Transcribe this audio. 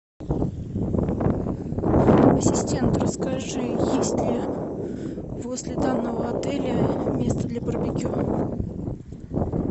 ассистент расскажи есть ли возле данного отеля место для барбекю